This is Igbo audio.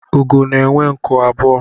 Úgò na-enwe nku abụọ